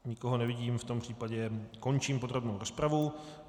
Nikoho nevidím, v tom případě končím podrobnou rozpravu.